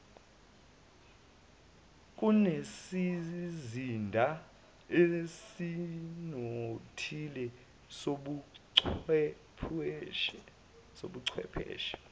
kunesizinda esinothile sobuchwepheshe